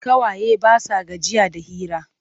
Ƙawaye ba sa gajiya da hira.